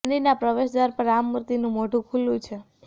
મંદિરના પ્રવેશ દ્વાર પર આ મૂર્તિનું મોઢું ખુલ્લું છે